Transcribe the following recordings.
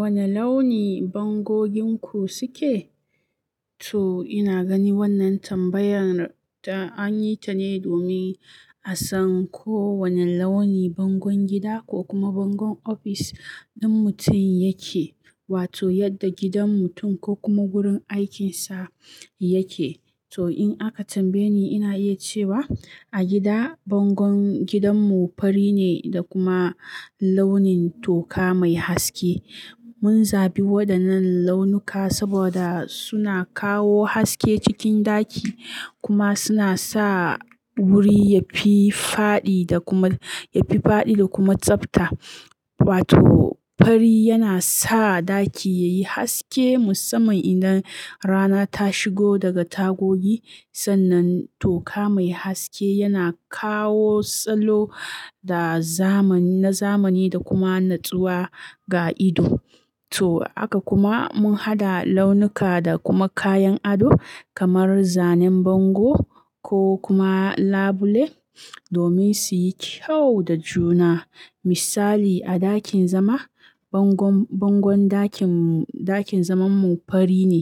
Wane launi bangoginku suke? To ina gani wannan tambayar ta an yi ta ne domin a san ko wane launi bangon gida ko kuma bangon ofis ɗin mutum yake wato yadda gidan mutum ko kuma wurin aikinsa yake. To in aka tambaye ni ina iya cewa a gida bangon gidanmu fari ne da kuma launin toka mai haske. Mun zabi waɗannan launuka saboda suna kawo haske cikin ɗaki kuma suna sa wuri yafi faɗi da kuma, yafi faɗi da kuma tsabta. Wato fari yana sa ɗaki yayi haske musamman idan rana ta shigo daga tagogi. Sannan toka mai haske yana kawo salo da zamani, na zamani da kuma natsuwa ga ido. To haka kuma mun haɗa launuka da kuma kayan ado kamar zanen bango ko kuma labule domin su yi kyau da juna. Misali a ɗakin zama, bangon, bangon ɗakin mu, ɗakin zamanmu fari ne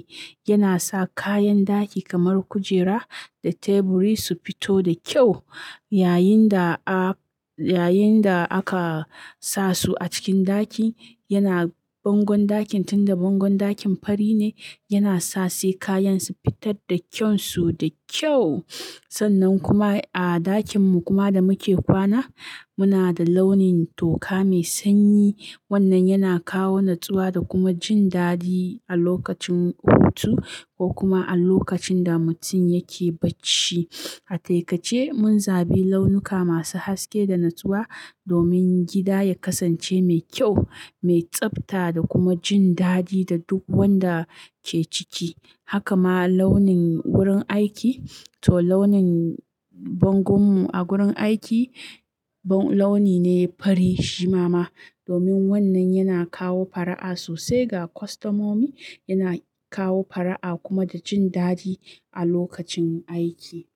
yana sa kayan ɗaki kamar kujera da teburi su fito da kyau yayin da a, yayin da aka sa su a cikin ɗaki. Yana bangon ɗakin tunda bangon ɗakin fari ne yana sa sai kayan su fitar da kyansu da kyau. Sannan kuma a ɗakin mu kuma da muke kwana muna da launin toka mai sanyi. Wannan yana kawo natsuwa da kuma jin dadi a lokacin hutu ko kuma a lokacin da mutum yake bacci. A taikace mun zabi launuka masu haske da natsuwa domin gida ya kasance mai kyau, mai tsabta da kuma jin dadi ga duk wanda ke ciki. Haka ma launin wurin aiki to launin bangon mu a gurin aiki launi ne fari shimama domin wannan yana kawo fara'a sosai ga kwastamomi. Yana kawo fara'a kuma da jin dadi a lokacin aiki.